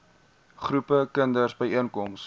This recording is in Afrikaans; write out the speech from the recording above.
groepe kinders byeenkom